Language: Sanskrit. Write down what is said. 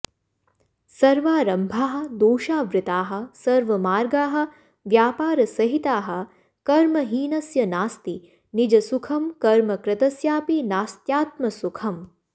सर्वारम्भाः दोषावृताः सर्वमार्गाः व्यापार सहिताः कर्महीनस्य नास्ति निजसुखं कर्मकृतस्यापि नास्त्यात्मसुखम्